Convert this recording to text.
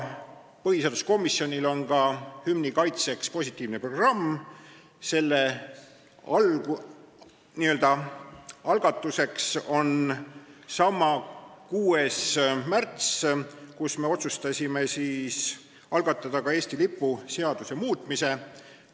Põhiseaduskomisjonil on hümni kaitseks ka positiivne programm, selle algatus toimus samal 6. märtsil, kui me otsustasime algatada Eesti lipu seaduse muutmise.